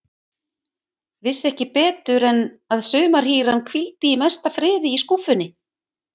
Vissi ekki betur en að sumarhýran hvíldi í mesta friði í skúffunni.